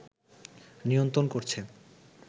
নিয়ন্ত্রণ করছে